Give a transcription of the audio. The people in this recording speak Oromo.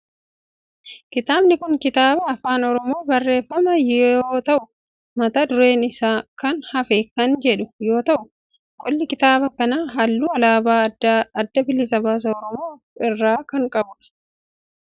Kitaabni kun kitaaba afaan oromoon barreeffame yoo ta'u mata dureen isaa sana hafee kan jedhu yoo ta'u qolli kitaaba kanaa halluu alaabaa adda bilisa baasaa oromoo of irraa kan qabudha.